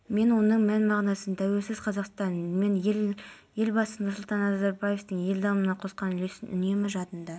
бүгін таңертең пәкістанның солтүстік-батысындағы джамруд елді мекенінде қуатты жарылыс болып кем дегенде қаза тауып астамы жарақат